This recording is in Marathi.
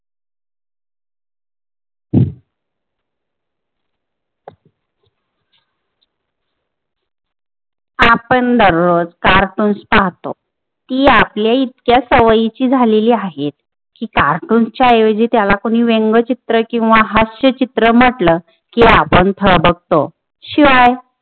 आपन दररोज कार्टून्स पाहतो, ती आपले इतक्या सवयीची झालेली आहेत कि कार्टूनच्या ऐवजी त्याला कुणी व्यंग्यचित्र किंवा हास्यचित्र म्हंटल कि आपन थबकतो शिवाय